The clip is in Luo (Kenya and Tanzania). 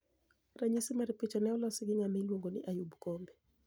Raniyisi mar picha ni e olosi gi nigama iluonigo nii Ayub kombe.